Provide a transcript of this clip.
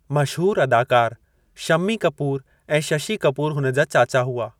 मशहूरु अदाकार शम्मी कपूर ऐं शशि कपूर हुन जा चाचा हुआ।